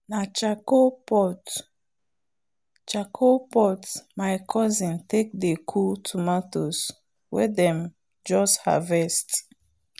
na charcoal pot charcoal pot my cousin take dey cool tomatoes wen them just harvest.